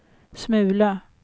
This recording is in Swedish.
smula